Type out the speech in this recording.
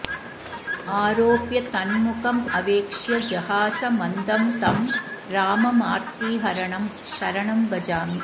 आरोप्य तन्मुखमवेक्ष्य जहास मन्दं तं राममार्तिहरणं शरणं भजामि